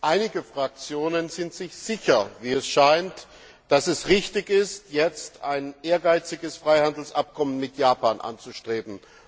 Einige Fraktionen sind sich sicher, wie es scheint, dass es richtig ist, jetzt ein ehrgeiziges Freihandelsabkommen mit Japan anzustreben.